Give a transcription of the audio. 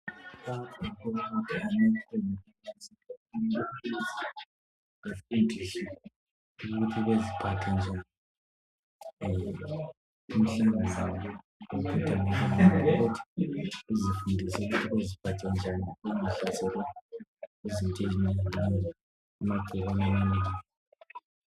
Abantu basemkhankasweni lapho bafundiswa ukuthi baziphathe njani ukuze bangahlaselwa yimikhuhlane.